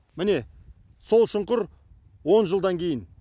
міне сол шұңқыр он жылдан кейін